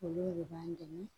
Olu de b'an dɛmɛ